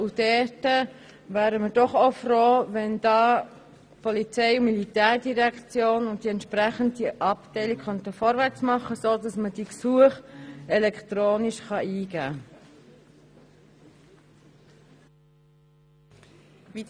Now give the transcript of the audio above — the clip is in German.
Wir wären froh, wenn die POM und die entsprechende Abteilung vorwärtsmachen könnten, sodass man die Gesuche elektronisch eingeben kann.